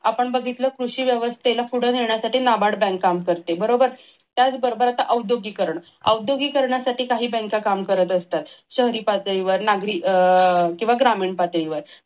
आपण बघितलं कृषी व्यवस्थेला पुढे नेण्यासाठी नाबाड बँक काम करते त्याच बरोबर आता औद्योगिकरण औद्योगिकरणासाठी काही बँका काम करत असतात शहरी पातळीवर किंवा ग्रामीण पातळीवर